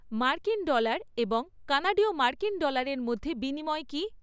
মার্কিন ডলার এবং কানাডীয় মার্কিন ডলারের মধ্যে বিনিময় কী?